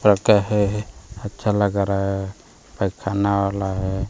है अच्छा लग रहा है पैखाना वाला है।